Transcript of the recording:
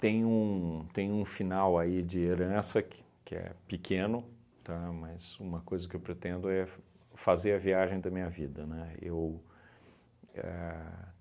Tem um tem um final aí de herança que que é pequeno, tá, mas uma coisa que eu pretendo é f fazer a viagem da minha vida, né, eu ahn